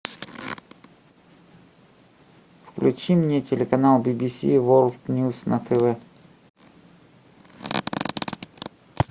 включи мне телеканал би би си ворлд ньюс на тв